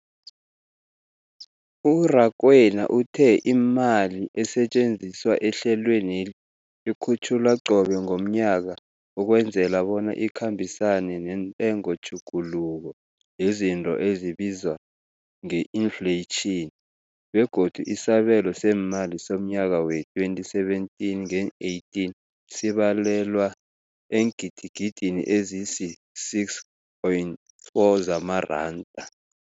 U-Rakwena uthe imali esetjenziswa ehlelweneli ikhutjhulwa qobe ngomnyaka ukwenzela bona ikhambisane nentengotjhuguluko yezinto ebizwa nge-infleyitjhini, begodu isabelo seemali somnyaka we-2017 ngeen-18 sibalelwa eengidigidini ezisi-6.4 zamaranda.